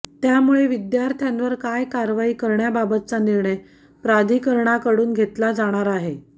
त्यामुळे विद्यार्थ्यांवर काय कारवाई करण्याबाबतचा निर्णय प्राधिकरणाकडून घेतला जाणार आहे